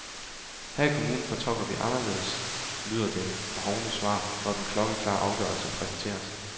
Her i kommunen fortolker vi anderledes, lyder det hovne svar, når den klokkeklare afgørelse præsenteres.